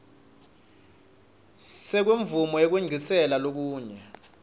semvumo yekwengciselwa kulenye